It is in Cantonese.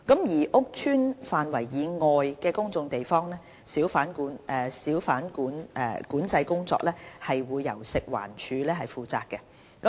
而屋邨範圍以外的公眾地方，小販管制工作則由食環署負責。